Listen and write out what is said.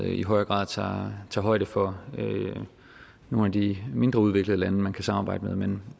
i højere grad tager højde for nogle af de mindre udviklede lande som man kan samarbejde med men